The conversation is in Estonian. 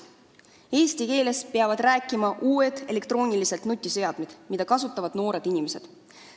Eesti keeles peavad rääkima uued elektroonilised nutiseadmed, mida kasutavad noored inimesed.